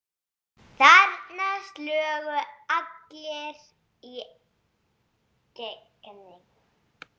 Þarna slógu allir í gegn.